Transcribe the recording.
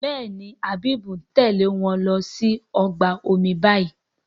Béèni Habib ń Tèlé wón ló sì ọgbà omi bayí.